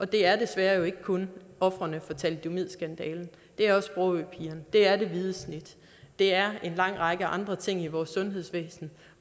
det er desværre ikke kun ofrene for thalidomidskandalen det er også sprogøpigerne det er det hvide snit det er en lang række andre ting i vores sundhedsvæsen